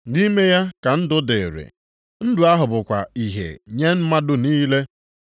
Nʼime ya ka ndụ dịrịị, ndụ ahụ bụkwa ìhè nye mmadụ niile,